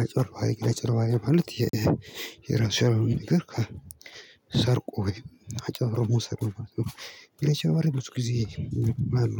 አጭበርባሪ አጭበርባሪ ማለት የራሱ ያልሆነ ነገር ሰርቆ ወይ አጭበርብሮ መውሰድ ነው። አጭበርባሪ ብዙ ጊዜ አሉ።